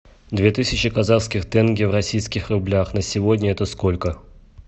две тысячи казахских тенге в российских рублях на сегодня это сколько